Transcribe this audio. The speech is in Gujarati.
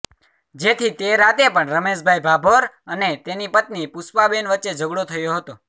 જેથી તે રાતે પણ રમેશભાઈ ભાભોર અને તેની પત્ની પુષ્પાબેન વચ્ચે ઝઘડો થયો હતો